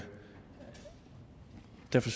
det